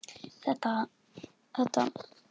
Gæti það átt sér stað?